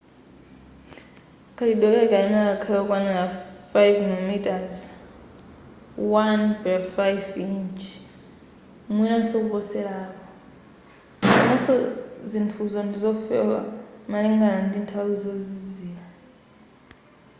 kachitidwe kake kayenera kakhale kokwanira 5mm 1/5 inchi mwinanso kuposera apo komanso zinthuzo ndizofewa malingana ndi kunthawi yozizira